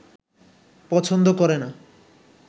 পছন্দ করে না